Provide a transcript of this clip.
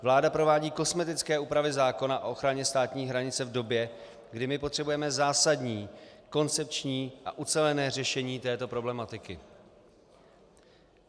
Vláda provádí kosmetické úpravy zákona o ochraně státní hranice v době, kdy my potřebujeme zásadní koncepční a ucelené řešení této problematiky.